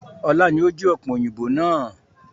Ọlá ni ó jí ọ̀pẹ̀yìnbo náà